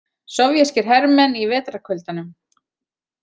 Sovéskir hermenn í vetrarkuldanum.